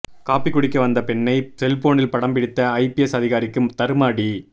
coffee குடிக்க வந்த பெண்ணை செல்போனில் படம் பிடித்த ஐபிஎஸ் அதிகாரிக்கு தர்ம அடி